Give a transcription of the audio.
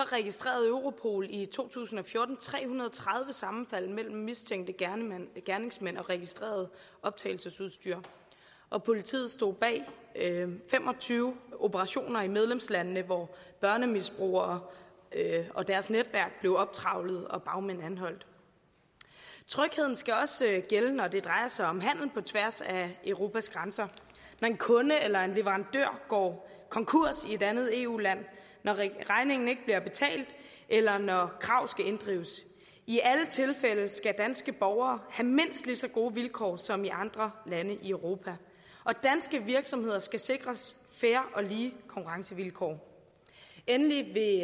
registrerede europol i to tusind og fjorten tre hundrede og tredive sammenfald mellem mistænkte gerningsmænd og registreret optagelsesudstyr og politiet stod bag fem og tyve operationer i medlemslandene hvor børnemisbrugere og deres netværk blev optrevlet og bagmændene anholdt trygheden skal også gælde når det drejer sig om handel på tværs af europas grænser når en kunde eller en leverandør går konkurs i et andet eu land når regningen ikke bliver betalt eller når krav skal inddrives i alle tilfælde skal danske borgere have mindst lige så gode vilkår som i andre lande i europa og danske virksomheder skal sikres fair og lige konkurrencevilkår endelig vil